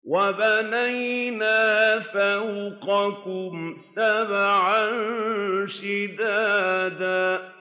وَبَنَيْنَا فَوْقَكُمْ سَبْعًا شِدَادًا